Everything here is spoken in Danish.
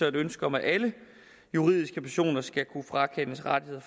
et ønske om at alle juridiske personer skal kunne frakendes rettigheder